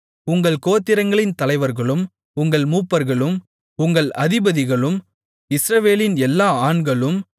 உங்கள் கோத்திரங்களின் தலைவர்களும் உங்கள் மூப்பர்களும் உங்கள் அதிபதிகளும் இஸ்ரவேலின் எல்லா ஆண்களும்